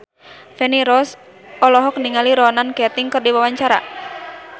Feni Rose olohok ningali Ronan Keating keur diwawancara